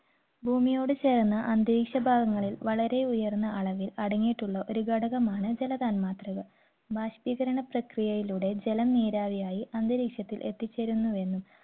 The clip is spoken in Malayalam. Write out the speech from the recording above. ഭൂമിയോട് ചേർന്ന് അന്തരീക്ഷ ഭാഗങ്ങളിൽ വളരെ ഉയർന്ന അളവിൽ അടങ്ങിയിട്ടുള്ള ഒരു ഘടകമാണ് ജലതന്മാത്രകൾ. ബാഷ്പീകരണ പ്രക്രിയയിലൂടെ ജലം നീരാവിയായി അന്തരീഷത്തിൽ എത്തിചെരുന്നുവെന്നും,